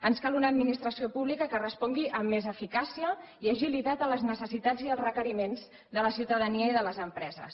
ens cal una administració pública que respongui amb més eficàcia i agilitat a les necessitats i als requeriments de la ciutadania i de les empreses